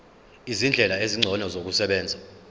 izindlela ezingcono zokusebenza